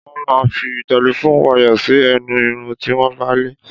Wón máa ń fi telephone wire sí ẹnu Irun tí wọ́n bá lẹ̀.